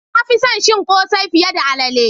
Na fi son cin kose fiye da alalle.